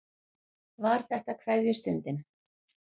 Var þetta kveðjustundin?